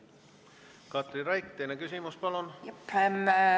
Katri Raik, teine küsimus, palun!